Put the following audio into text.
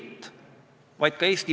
Lugupeetud vastaja!